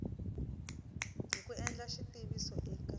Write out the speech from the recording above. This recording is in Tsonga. hi ku endla xitiviso eka